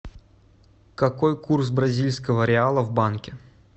какой курс бразильского реала в банке